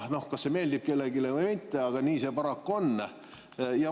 Kas see meeldib kellelegi või mitte, aga nii see paraku on.